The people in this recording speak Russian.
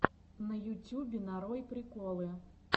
на ютюбе нарой приколы